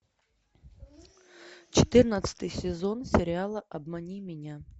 четырнадцатый сезон сериала обмани меня